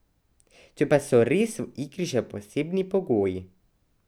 Če pa so res v igri še posebni pogoji ...